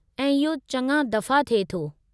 ऐं इहो चङा दफ़ा थिए थो।